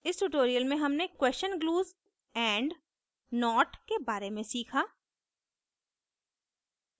इस tutorial में हमने क्वेशन glues and not के बारे में सीखा